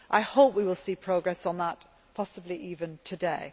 I hope we will see progress on that, possibly even today.